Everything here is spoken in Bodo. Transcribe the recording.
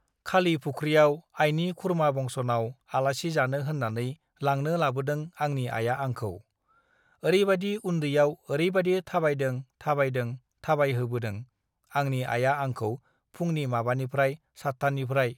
"खालि फुख्रियाव आइनि खुरमा बंस'नाव आलासि जानो होननानै लांनो लाबोदों आंनि आइया आंखौ। ओरैबादि उन्दैयाव ओरैबादि थाबायदों थाबायदों थाबायहोबोदों, आंनि आइआ आंखौ फुंनि माबानिफ्राय सातथानिफ्राय..."